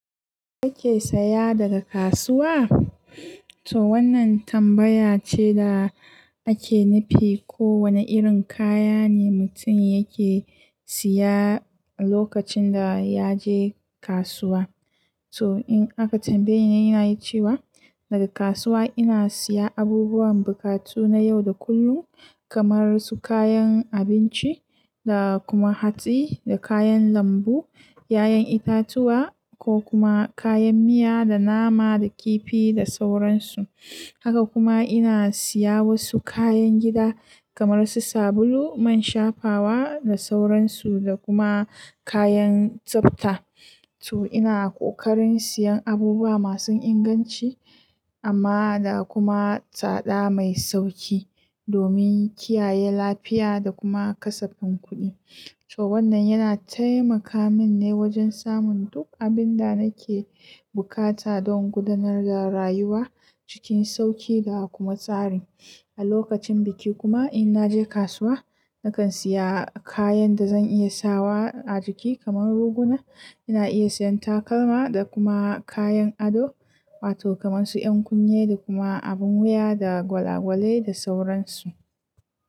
Kake saya daga kasuwa? To wannan tambaya ce da ake nufi ko wane irin kaya ne mutum yake siya lokacin da ya je kasuwa. To in aka tambaye ni, ina cewa daga kasuwa ina siya abubuwan bukatu na yau da kullum kamar su kayan abinci, da kuma hatsi, da kayan lambu, 'ya'yan itatuwa ko kuma kayan miya, da nama, da kifi da sauransu. Haka kuma ina siya wasu kayan gida kamar su sabulu, man shafawa da sauransu da kuma kayan tsafta. To ina ƙoƙarin siyan abubuwa masu inganci amma da kuma tsada mai sauki domin kiyaye lafiya da kuma kasafin kuɗi. To wannan yana taimaka min ne wajen samun duk abin da nake bukata don gudanar da rayuwa cikin sauki da kuma tsari. A lokacin biki kuma in naje kasuwa, nakan siya kayan da zan iya sawa a jiki kamar ruguna. Ina iya siyan takalma da kuma kayan ado wato kamar su 'yan kunne da kuma abin wuya, da gwalagwale da sauransu.